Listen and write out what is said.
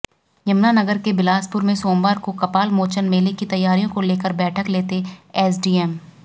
यमुनानगर के बिलासपुर में सोमवार को कपालमोचन मेले की तैयारियों को लेकर बैठक लेते एसडीएम